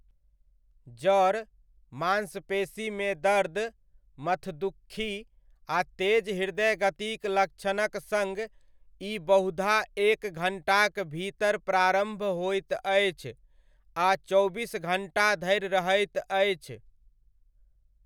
जर, मांसपेशीमे दर्द, मथदुक्खी आ तेज हृदयगतिक लक्षणक सङ्ग ई बहुधा एक घण्टाक भीतर प्रारम्भ होइत अछि आ चौबीस घण्टा धरि रहैत अछि।